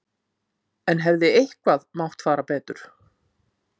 En hefði eitthvað mátt fara betur?